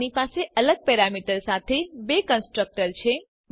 આપણી પાસે અલગ પેરામીટર સાથે બે કન્સ્ટ્રક્ટર છે